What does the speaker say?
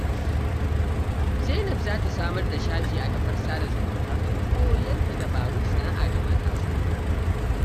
Zainab za ta samar da shafi a kafar sada zumunta don koyar da dabarun sana'a ga matasa.